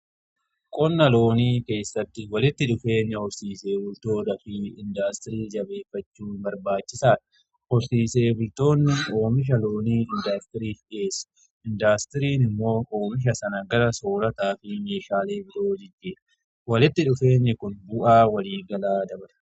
Qonna loonii keessatti walitti dhufeenya horsiisee bultoota fi indaastirii jabeeffachuu barbaachisaadha. Horsiise bultoonni oomisha loonii indaastirii fi dhiyeessa. Indaastiriin immoo oomisha sana gala soorataa fi meeshaalee biroo jijjiira walitti dhufeenyi kun bu'aa walii galaa dabala.